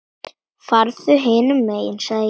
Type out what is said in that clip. Farðu hinum megin sagði ég.